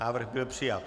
Návrh byl přijat.